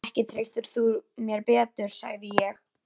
Ekki treystir þú mér betur, sagði ég.